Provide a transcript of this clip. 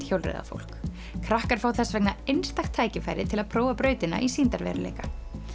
hjólreiðafólk krakkar fá þess vegna einstakt tækifæri til að prófa brautina í sýndarveruleika